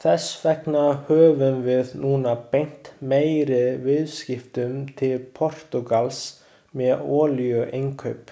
Þess vegna höfum við núna beint meiri viðskiptum til Portúgals með olíuinnkaup.